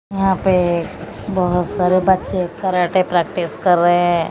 यहां पे बहोत सारे बच्चे कराटे प्रैक्टिस कर रहे हैं।